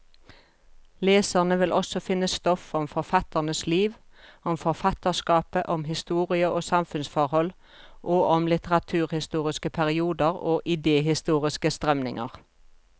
Leserne vil også finne stoff om forfatternes liv, om forfatterskapet, om historie og samfunnsforhold, og om litteraturhistoriske perioder og idehistoriske strømninger.